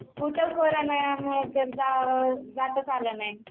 कुठं करोंना मूळ तर कुठं जाताच आलं नाही